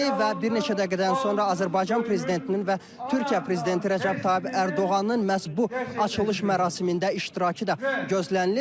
Və bir neçə dəqiqədən sonra Azərbaycan prezidentinin və Türkiyə prezidenti Rəcəb Tayyib Ərdoğanın məhz bu açılış mərasimində iştirakı da gözlənilir.